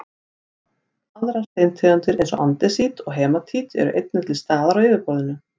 aðrar steintegundir eins og andesít og hematít eru einnig til staðar á yfirborðinu